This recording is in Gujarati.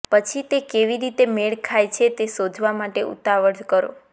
પછી તે કેવી રીતે મેળ ખાય છે તે શોધવા માટે ઉતાવળ કરો